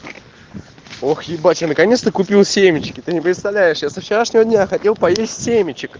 ох ебать я наконец-то купил семечки ты не представляешь я со вчерашнего дня хотел поесть семечек